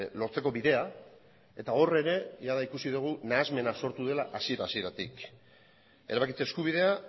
lortzeko bidea eta hor ere jada ikusi dugu nahasmena sortu dela hasiera hasieratik erabakitze eskubidea